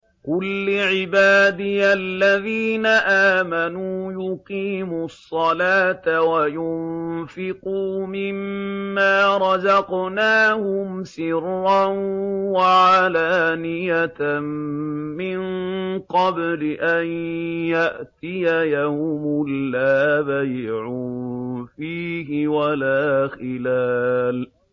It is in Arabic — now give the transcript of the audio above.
قُل لِّعِبَادِيَ الَّذِينَ آمَنُوا يُقِيمُوا الصَّلَاةَ وَيُنفِقُوا مِمَّا رَزَقْنَاهُمْ سِرًّا وَعَلَانِيَةً مِّن قَبْلِ أَن يَأْتِيَ يَوْمٌ لَّا بَيْعٌ فِيهِ وَلَا خِلَالٌ